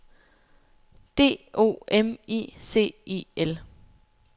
D O M I C I L